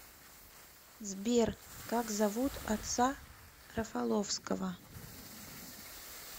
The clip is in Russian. сбер как зовут отца рафаловского